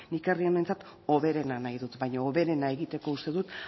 nik herri honentzat hoberena nahi dut baino hoberena egiteko uste dut